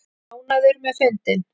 Ánægður með fundinn